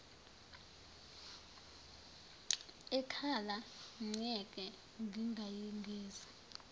ekhala myeke ngingayigeza